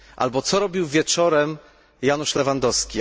Albo co robił wieczorem Janusz Lewandowski?